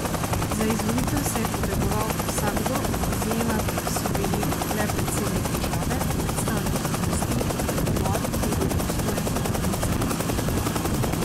Za izvolitev se je potegoval vsakdo, izjema so bili le predsednik države, predstavniki oblasti in odbor, ki je bil pristojen za organizacijo zbora.